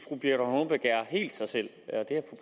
at er helt sig selv